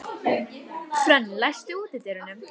Hrönn, læstu útidyrunum.